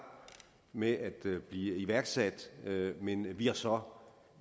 med at blive iværksat men vi har så